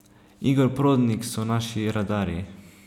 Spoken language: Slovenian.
Igor Prodnik so naši radarji.